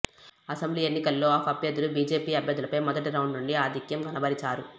assembly ఎన్నికల్లో AAP అభ్యర్ధులు BJP అభ్యర్ధులపై మొదటి రౌండ్ నుండి ఆధిక్యం కనబరిచారు